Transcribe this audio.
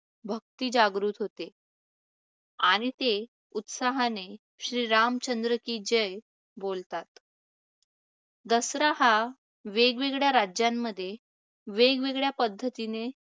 भक्ती जागृत होते आणि ते उत्साहाने श्री रामचंद्र की जय बोलतात. दसरा हा वेगवेगळ्या राज्यांमध्ये वेगवेगळ्या पद्धतीने